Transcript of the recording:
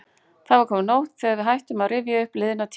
Það var komin nótt þegar við hættum að rifja upp liðna tíð.